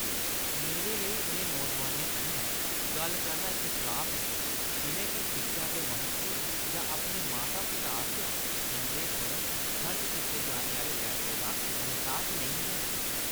मेरे लेई उ'नें नौजोआनें कन्नै गल्ल करना इक श्राप ऐ जिʼनें गी शिक्षा दे म्हत्तव जां अपने माता-पिता आसेआ उंʼदे पर खर्च कीते जाने आह्‌ले पैसे दा ऐह्सास नेईं ऐ।